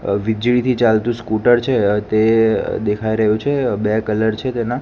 અ વીજળીથી ચાલતુ સ્કૂટર છે તે દેખાય રહ્યુ છે બે કલર છે તેના.